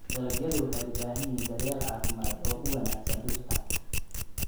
Dalagyadu waxay u baahan yihiin daryeel caafimaad oo wanaagsan dhirta.